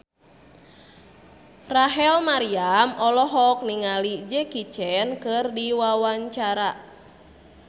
Rachel Maryam olohok ningali Jackie Chan keur diwawancara